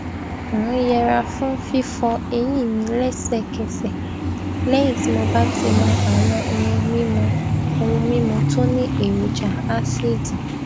n yẹra fún fífọ eyín mi lẹsẹkẹsẹ léyìn tí mo bá ti mu àwọn ohun mímu ohun mímu tó ní èròjà ásíìdì